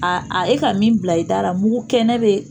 e ka min bila i dara mugu kɛnɛ bɛ